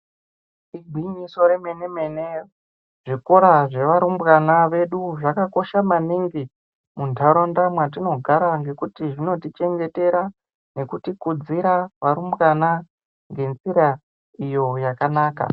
"Igwinyiso remene-mene!" Zvikora zvevarumbwana vedu zvakakosha maningi muntaraunda mwatinogara ngekuti zvinotichengetera nekutikudzira varumbwana ngenzira iyo yakanaka.